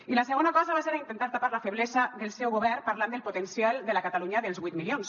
i la segona cosa va ser a intentar tapar la feblesa del seu govern parlant del potencial de la catalunya dels vuit milions